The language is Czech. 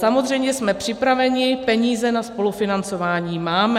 Samozřejmě jsme připraveni, peníze na spolufinancování máme.